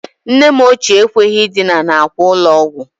Nne m ochie ekweghi idina n'akwa ụlọ ọgwọ